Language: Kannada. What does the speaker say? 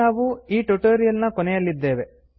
ಈಗ ನಾವು ಎ ಟ್ಯುಟೋರಿಯಲ್ ನ ಕೊನೆಯಲ್ಲಿದ್ದೇವೆ